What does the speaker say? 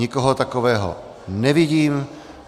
Nikoho takového nevidím.